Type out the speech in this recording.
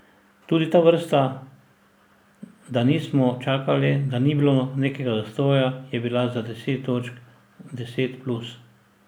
Tudi ta vrsta, da nismo čakali, da ni bilo nekega zastoja, je bila za deset točk, deset plus.